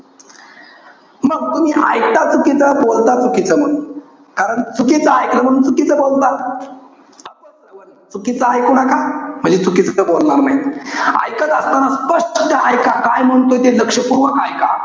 मग तुम्ही, एकता चुकीचं बोलता चुकीचं. कारण चुकीचं एकल म्हणून चुकीचं बोलता. अपश्रवण, चुकीचं इकू नका. म्हणजे चुकीचं काही बोलणार नाही. एकत असताना स्पष्ट काय म्हणतोय ते लक्षपूर्वक एका.